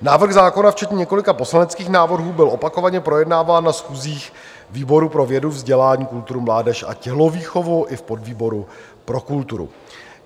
Návrh zákona včetně několika poslaneckých návrhů byl opakovaně projednáván na schůzích výboru pro vědu, vzdělání, kulturu, mládež a tělovýchovu i v podvýboru pro kulturu.